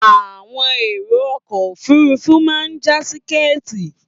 Àwọn èrò ọkọ òfúrufú máa já tíkẹ́ētì.